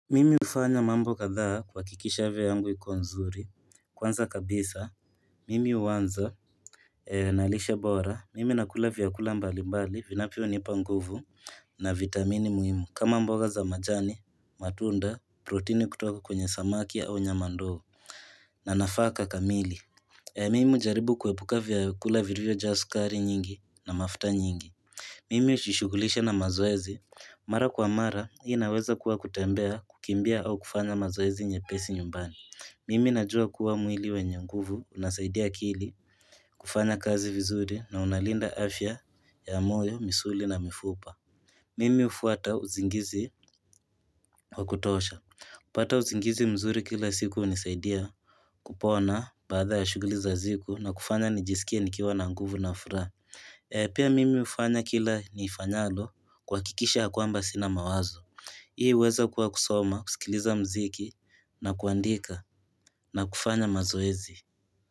Mimi hufanya mambo kadhaa kuhakikisha avya yangu iko nzuri Kwanza kabisa mimi uanza na lishe bora mimi nakula vyakula mbali mbali vinavyonipa nguvu na vitamini muhimu kama mboga za majani matunda protini kutoka kwenye samaki au nyama ndo na nafaka kamili Mimi hujaribu kuepuka vyakula virivyo jaa sukari nyingi na mafuta nyingi Mimi hushishugulisha na mazoezi Mara kwa mara, hii inaweza kuwa kutembea, kukimbia au kufanya mazoezi nyepesi nyumbani. Mimi najua kuwa mwili wenye nguvu, unasaidia akili kufanya kazi vizuri na unalinda afya ya moyo, misuli na mifupa. Mimi hufuata usingizi wa kutosha. Hupata usingizi mzuri kila siku hunisaidia kupona baadha ya shuguli za ziku na kufanya nijisikie nikiwa na nguvu na furaha. Pia mimi hufanya kila niifanyalo kuhakikisha ya kwamba sina mawazo. Hii huweza kuwa kusoma, kusikiliza mziki na kuandika na kufanya mazoezi.